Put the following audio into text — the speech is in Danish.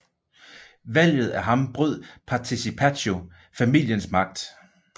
Valget af ham brød Participazio familiens magt